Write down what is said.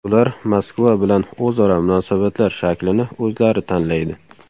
Ular Moskva bilan o‘zaro munosabatlar shaklini o‘zlari tanlaydi.